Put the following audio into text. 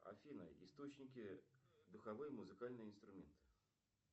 афина источники духовые музыкальные инструменты